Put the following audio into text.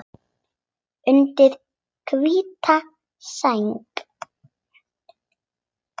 Undir hvíta sæng.